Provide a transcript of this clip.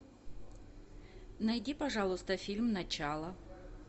найди пожалуйста фильм начало